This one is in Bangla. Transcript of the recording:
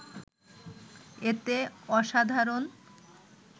এতে অসাধারণ